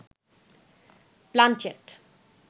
planchette